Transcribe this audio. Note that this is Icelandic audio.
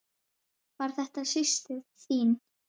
Var þetta systir þín?